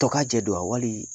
Tɔ kaa jɛ don wa? waliii